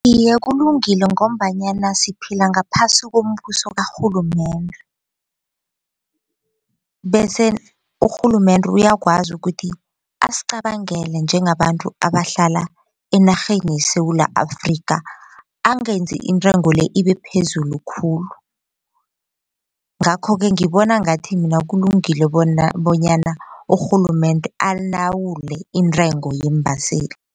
Iye, kulungile ngombanyana siphila ngaphasi kombuso karhulumende, bese urhulumende uyakwazi ukuthi asicabangele njengabantu abahlala enarheni yeSewula Afrika angenzi intengo le ibe phezulu khulu. Ngakho-ke ngibona ngathi mina kulungile bonyana urhulumende alawule intengo yeembaseli.